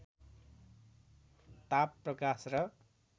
ताप प्रकाश र